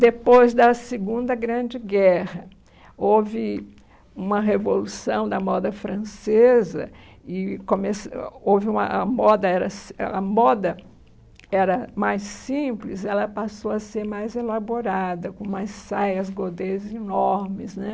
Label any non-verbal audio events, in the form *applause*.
Depois da Segunda Grande Guerra, houve uma revolução da moda francesa e começou houve uma a moda era *unintelligible* a moda era mais simples, ela passou a ser mais elaborada, com mais saias, godês enormes.